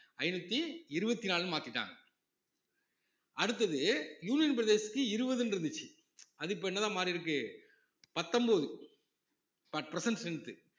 ஐநூத்தி இருவத்தி நாலுன்னு மாத்திட்டாங்க அடுத்தது union பிரதேசத்துக்கு இருவதுன்னு இருந்துச்சு அது இப்ப என்னதான் மாறி இருக்கு பத்தொன்பது இப்ப at present strength உ